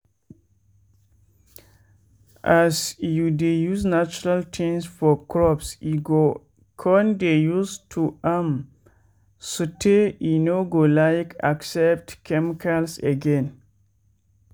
as you dey use natural tins for crops e go con dey use to am sotey e no go like accept chemicals again.